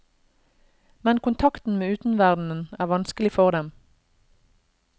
Men kontakten med utenverdenen er vanskelig for dem.